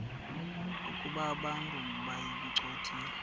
ukuba abantu bayincothule